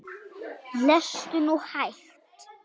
Lestu nú hægt!